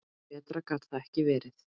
Betra gat það ekki verið.